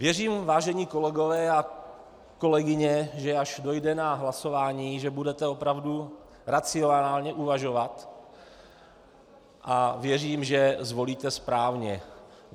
Věřím, vážení kolegové a kolegyně, že až dojde na hlasování, že budete opravdu racionálně uvažovat a věřím, že zvolíte správně.